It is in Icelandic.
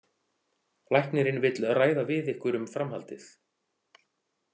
Læknirinn vill ræða við ykkur um framhaldið.